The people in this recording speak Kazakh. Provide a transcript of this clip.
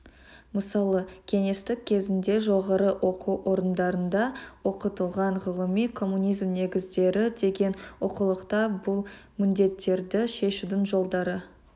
мысалы кеңестік кезеңде жоғары оқу орындарында оқытылған ғылыми коммунизм негіздері деген оқулықта бұл міндеттерді шешудің жолдары